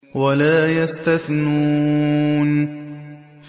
وَلَا يَسْتَثْنُونَ